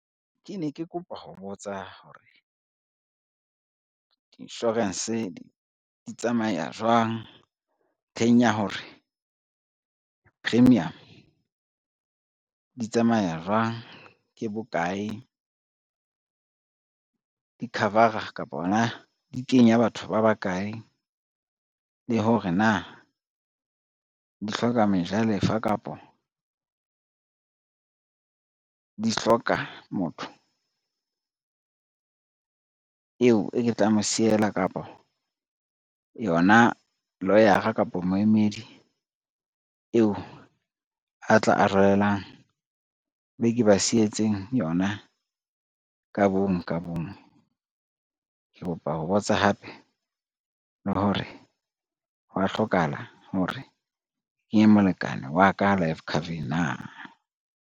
Ke ne ke kopa ho botsa hore, di-insurance di tsamaya jwang ntlheng ya hore, premium di tsamaya jwang, ke bokae, di-cover-a kapa hona di kenya batho ba bakae le hore na di hloka mejalefa, kapo di hloka motho eo e ke tla mo siela, kapa yona lawyer-a kapo moemedi eo a tla arolelang be ke ba sietseng yona ka bonngwe ka bonngwe. Ke kopa ho botsa hape le hore hwa hlokahala hore kenye molekane wa ka life cover-eng na.